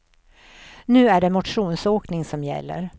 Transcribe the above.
Nu är det motionsåkning som gäller.